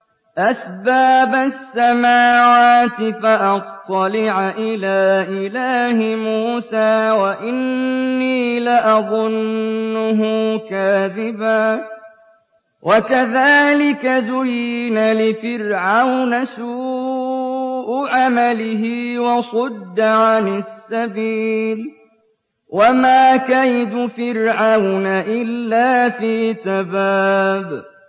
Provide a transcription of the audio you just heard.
أَسْبَابَ السَّمَاوَاتِ فَأَطَّلِعَ إِلَىٰ إِلَٰهِ مُوسَىٰ وَإِنِّي لَأَظُنُّهُ كَاذِبًا ۚ وَكَذَٰلِكَ زُيِّنَ لِفِرْعَوْنَ سُوءُ عَمَلِهِ وَصُدَّ عَنِ السَّبِيلِ ۚ وَمَا كَيْدُ فِرْعَوْنَ إِلَّا فِي تَبَابٍ